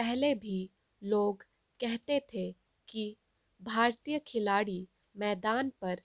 पहले भी लोग कहते थे कि भारतीय खिलाड़ी मैदान पर